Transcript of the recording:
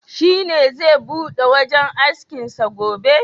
Shi ne zai bude wajen askin sa gobe?